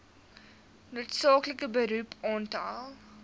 noodsaaklike beroep aantal